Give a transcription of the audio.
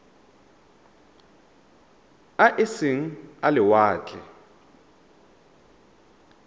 a e seng a lewatle